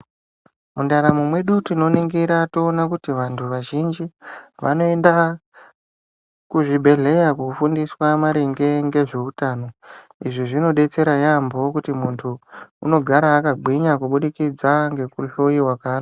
Mundaramo mwedu tinoningira toona kuti vantu vazhinji vanoenda kuzvibhedhleya kofundiswa maringe ngezveutano izvi zvinodetsera yaambo kuti muntu unogara akagwinya kubidikidza ngekuhloyiwa.